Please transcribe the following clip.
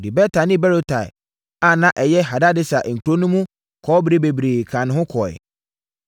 Ɔde Beta ne Berotai a na ɛyɛ Hadadeser nkuro no mu kɔbere bebree kaa ne ho kɔɔeɛ.